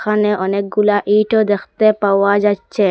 এখানে অনেকগুলা ইঁটও দেখতে পাওয়া যাইচ্ছে ।